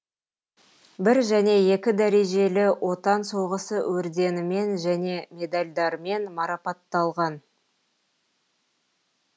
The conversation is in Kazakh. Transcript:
бір және екі дәрежелі отан соғысы орденімен және медальдармен марапатталған